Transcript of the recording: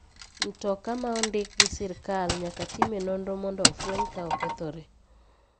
Mtoka ma ondik gi sirkal nyaka time nonro mondo ofweny ka okethore.